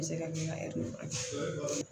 N bɛ se ka min ka